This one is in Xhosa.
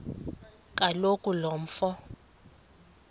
kaloku lo mfo